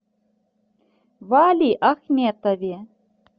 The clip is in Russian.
валиахметове